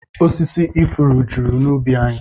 Osisi ifuru juru n'ubi anyị